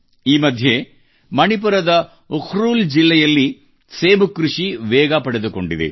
ಈ ಮಧ್ಯೆ ಮಣಿಪುರದ ಉಕ್ರೂಲ್ ಜಿಲ್ಲೆಯಲ್ಲಿ ಸೇಬು ಕೃಷಿ ವೇಗ ಪಡೆದುಕೊಂಡಿದೆ